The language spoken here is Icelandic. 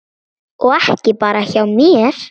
Og ekki bara hjá mér.